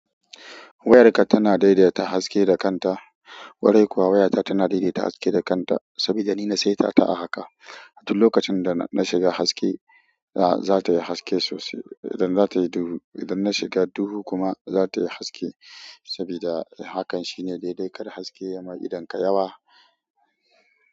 Wayarka tana daidaita haske da kanta, ƙwarai kuwa wayata tana daidaita haske da kanta saboda nina saitata a haka. Duk lokacin dana shiga haske zatayi haske sosai, idan nashiga duhu kuma zatayi haske saboda hakan shine daidai kar haske yama idonka yawa.